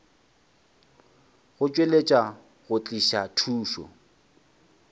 go tšweletša go tliša thušo